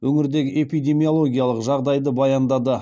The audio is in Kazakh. өңірдегі эпидемиологиялық жағдайды баяндады